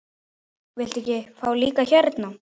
Viltu ekki fá líka hérna?